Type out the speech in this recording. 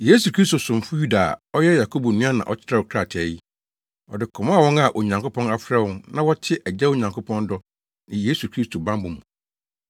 Yesu Kristo somfo Yuda a ɔyɛ Yakobo nua na ɔkyerɛw krataa yi, Ɔde kɔmaa wɔn a Onyankopɔn afrɛ wɔn na wɔte Agya Onyankopɔn dɔ ne Yesu Kristo bammɔ mu: